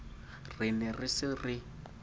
re ne re se re